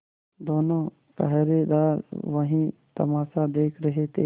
दोनों पहरेदार वही तमाशा देख रहे थे